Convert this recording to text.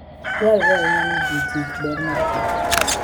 Dwarore ahinya ni ji kich ber mar kich.